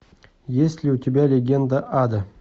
есть ли у тебя легенда ада